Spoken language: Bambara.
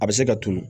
A bɛ se ka tunun